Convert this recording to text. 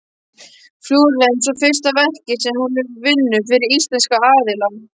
Flórens og fyrsta verkið sem hún vinnur fyrir íslenska aðila.